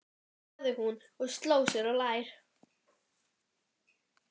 sagði hún og sló sér á lær.